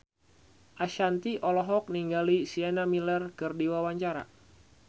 Ashanti olohok ningali Sienna Miller keur diwawancara